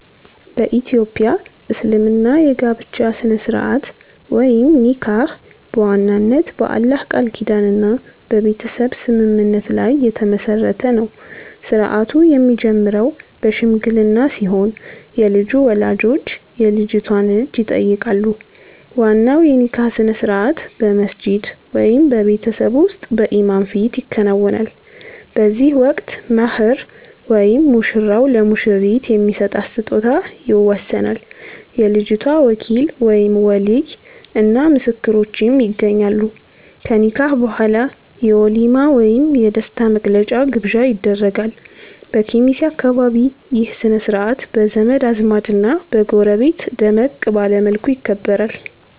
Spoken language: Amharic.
በ ኢትዮጵያ እስልምና የጋብቻ ሥነ-ሥርዓት (ኒካህ) በዋናነት በአላህ ቃል ኪዳንና በቤተሰብ ስምምነት ላይ የተመሠረተ ነው። ሥርዓቱ የሚጀምረው በሽምግልና ሲሆን፣ የልጁ ወላጆች የልጅቷን እጅ ይጠይቃሉ። ዋናው የኒካህ ሥነ-ሥርዓት በመስጂድ ወይም በቤት ውስጥ በኢማም ፊት ይከናወናል። በዚህ ወቅት "መህር" (ሙሽራው ለሙሽሪት የሚሰጣት ስጦታ) ይወሰናል፤ የልጅቷ ወኪል (ወሊይ) እና ምስክሮችም ይገኛሉ። ከኒካህ በኋላ የ"ወሊማ" ወይም የደስታ መግለጫ ግብዣ ይደረጋል። በኬሚሴ አካባቢ ይህ ሥነ-ሥርዓት በዘመድ አዝማድና በጎረቤት ደመቅ ባለ መልኩ ይከበራል።